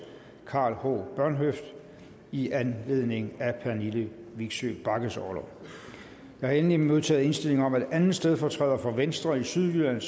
karl h bornhøft i anledning af pernille vigsø bagges orlov jeg har endelig modtaget indstilling om at anden stedfortræder for venstre i sydjylland